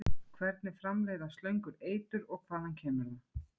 Hvernig framleiða slöngur eitur og hvaðan kemur það?